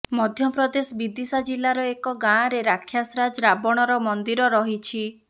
ମଧ୍ୟପ୍ରଦେଶ ବିଦିଶା ଜିଲ୍ଲାର ଏକ ଗାଁରେ ରାକ୍ଷସରାଜ ରାବଣର ମନ୍ଦିର ରହିଛି